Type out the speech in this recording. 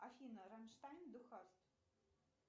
афина раммштайн ду хаст